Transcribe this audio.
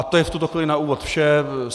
A to je v tuto chvíli na úvod vše.